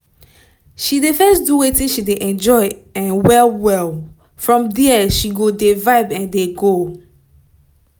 she dey first do wetin she dey enjoy um well well from dia she go dey vibe dey um go